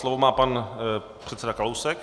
Slovo má pan předseda Kalousek.